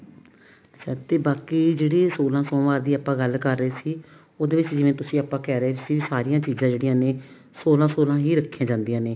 ਸਕਤੀ ਬਾਕੀ ਜਿਹੜੀ ਆਪਾਂ ਸੋਲਾਂ ਸੋਮਵਾਰ ਦੀ ਗੱਲ ਕਰ ਰਹੇ ਸੀ ਉਹਦੇ ਵਿੱਚ ਜਿਵੇਂ ਆਪਾਂ ਕਹਿ ਰਹੇ ਸੀ ਸਾਰੀਆਂ ਚੀਜ਼ਾਂ ਜਿਹੜੀਆਂ ਨੇ ਸੋਲਾਂ ਸੋਲਾਂ ਹੀ ਰੱਖੀਆਂ ਜਾਂਦੀਆਂ ਨੇ